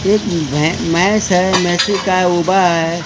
एक मे म्हैस है काय उभा आहे.